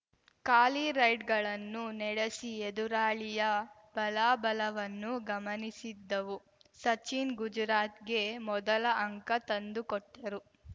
ಖಾಲಿ ರೈಡ್‌ಗಳನ್ನು ನೆಡೆಸಿ ಎದುರಾಳಿಯ ಬಲಾಬಲವನ್ನು ಗಮನಿಸಿದ್ದವು ಸಚಿನ್‌ ಗುಜರಾತ್‌ಗೆ ಮೊದಲ ಅಂಕ ತಂದುಕೊಟ್ಟರು